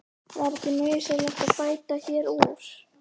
Var ekki nauðsynlegt að bæta hér úr?